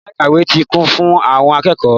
Yàrá ìkàwé ti kún fún àwọn akẹ́kọ̀ọ́.